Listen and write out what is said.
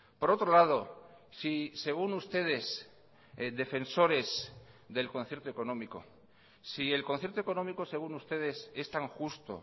por otro lado si según ustedes defensores del concierto económico si el concierto económico según ustedes es tan justo